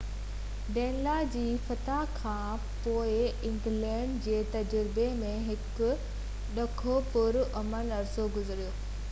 ڊينلا جي فتح کان پوءِ انگلينڊ جي تجربي ۾ هڪ ڊگهو پُر امن عرصو گذريو